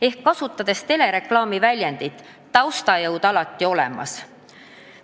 Ehk kasutades telereklaami väljendit: taustajõud alati olemas.